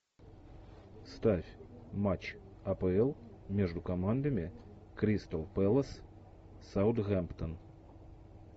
ставь матч апл между командами кристал пэлас саутгемптон